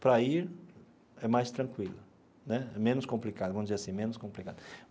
Para ir, é mais tranquilo né, menos complicado, vamos dizer assim, menos complicado.